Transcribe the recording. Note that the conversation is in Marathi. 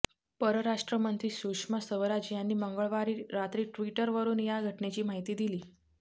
परराष्ट्र मंत्री सुषमा स्वराज यांनी मंगळवारी रात्री ट्विटरवरुन या घटनेची माहिती दिली